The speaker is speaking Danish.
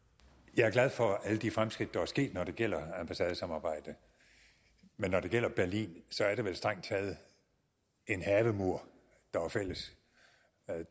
jeg er glad for alle de fremskridt der er sket når det gælder ambassadesamarbejde men når det gælder det berlin er det vel strengt taget en havemur der er fælles